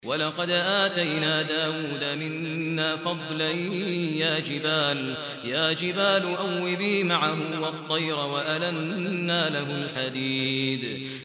۞ وَلَقَدْ آتَيْنَا دَاوُودَ مِنَّا فَضْلًا ۖ يَا جِبَالُ أَوِّبِي مَعَهُ وَالطَّيْرَ ۖ وَأَلَنَّا لَهُ الْحَدِيدَ